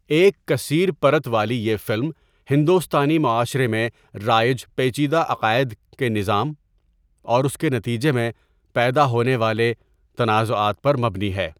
ایک کثیر پرت والی یہ فلم ہندوستانی معاشرے میں رائج پیچیدہ عقائد کے نظام اور اس کے نتیجے میں پیدا ہونے والے تنازعات پر مبنی ہے۔